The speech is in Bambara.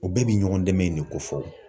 U bɛɛ bi ɲɔgɔn dɛmɛ in de ko fɔ